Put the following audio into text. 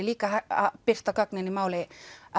líka að birta gögnin í máli